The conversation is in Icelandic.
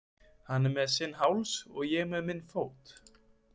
Hann með sinn háls og ég með minn fót.